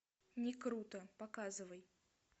не круто показывай